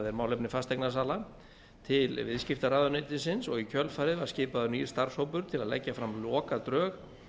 er málefni fasteignasala til viðskiptaráðuneytisins og í kjölfarið var skipaður nýr starfshópur til að leggja fram lokadrög